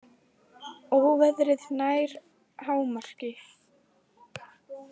Óveðrið nær hámarki